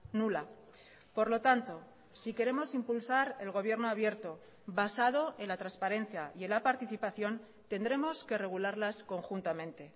nula por lo tanto si queremos impulsar el gobierno abierto basado en la transparencia y en la participación tendremos que regularlas conjuntamente